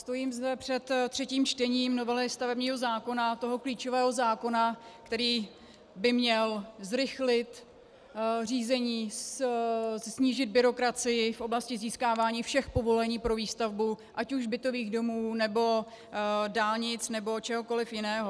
Stojím zde před třetím čtením novely stavebního zákona, toho klíčového zákona, který by měl zrychlit řízení, snížit byrokracii v oblasti získávání všech povolení pro výstavbu ať už bytových domů, nebo dálnic, nebo čehokoliv jiného.